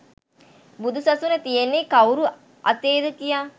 බුදු සසුන තියෙන්නේ කවුරු අතේද කියා